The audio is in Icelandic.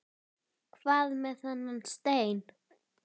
Hvað með þennan stein?